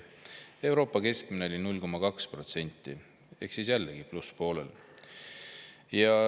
Euroopa keskmine oli 0,2% ehk siis plusspoolel.